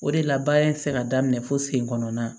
O de la baara in tɛ se ka daminɛ fo sen kɔnɔnna